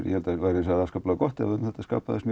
ég held það væri gott ef það skapaðist